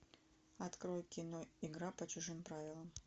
открой кино игра по чужим правилам